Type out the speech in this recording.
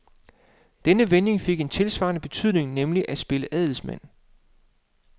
Denne vending fik en tilsvarende betydning, nemlig at spille adelsmand.